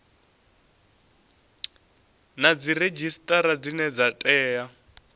na dziredzhisitara dzine dza tea